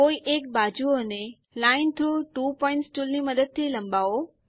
કોઇ એક બાજુઓ ને લાઇન થ્રોગ ત્વો પોઇન્ટ્સ ટુલની મદદ થી લંબાવો